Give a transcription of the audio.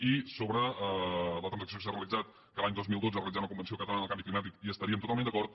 i sobre la transacció que s’ha realitzat que a l’any dos mil dotze es realitzarà una convenció catalana del canvi climàtic hi estaríem totalment d’acord